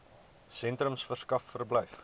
sentrums verskaf verblyf